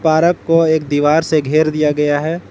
Park को एक दीवार से घर दिया गया है।